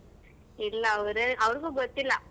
ಇಲ್ಲ ಅವ್ರೆ~ ಅವ್ರ್ಗು ಗೊತ್ತಿಲ್ಲ.